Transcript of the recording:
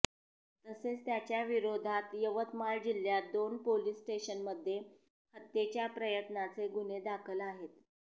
तसेच त्याच्याविरोधात यवतमाळ जिल्ह्यात दोन पोलीस स्टेशन्समध्ये हत्येच्या प्रयत्नाचे गुन्हे दाखल आहेत